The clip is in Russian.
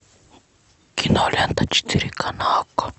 кинолента четыре ка на окко